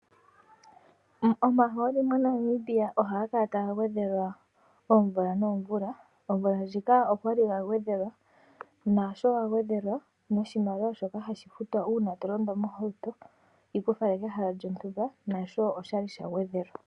Omahooli moNamibia ohaga kala taga gwedhelwa oomvula noomvula. Omvula ndjika ogali ga gwedhelwa naasho ga gwedhelwa noshimaliwa shoka hashi futwa uuna tolondo mohauto yiku fale kehala lyontumba nasho oshali sha gwedhelwa.